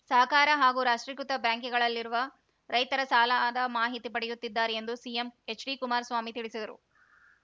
ಸಹಕಾರ ಹಾಗೂ ರಾಷ್ಟ್ರೀಕೃತ ಬ್ಯಾಂಕಿಗಳಲ್ಲಿರುವ ರೈತರ ಸಾಲದ ಮಾಹಿತಿ ಪಡೆಯುತ್ತಿದ್ದಾರೆ ಎಂದು ಸಿಎಂ ಎಚ್‌ಡಿ ಕುಮಾರಸ್ವಾಮಿ ತಿಳಿಸಿದರು